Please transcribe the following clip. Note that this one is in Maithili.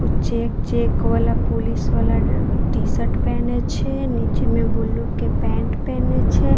कुछ चेक चेक वाला पुलिस वाला टी-शर्ट पहने छै नीचे में ब्लू के पेंट पहने छै।